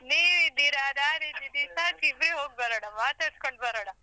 ನೀವಿದ್ದೀರಾ, ನಾನಿದ್ದೀನಿ ಸಾಕ್ ಇಬ್ರೆ ಹೋಗ್ಬರೋಣ ಮಾತಾಡ್ಸ್ಕೊಂಡ್ ಬರೋಣ.